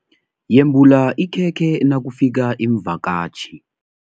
Yembula ikhekhe nakufika iimvakatjhi.